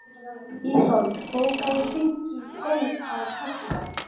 Ísold, bókaðu hring í golf á föstudaginn.